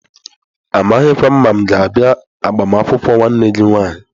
Amaghịkwa m ma mga abia agbamakwụkwọ nwanne gi nwanyi.